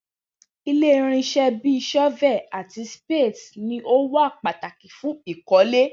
Ile irinṣẹ bi shovels ati spades ni o wa pataki fun ikole.